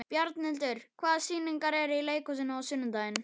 Bjarnhildur, hvaða sýningar eru í leikhúsinu á sunnudaginn?